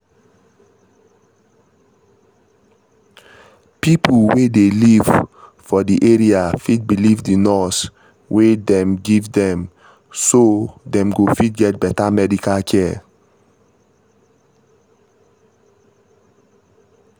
people wey dey live for the area fit believe the nurse wey dem give dem so dem go fit get better medical care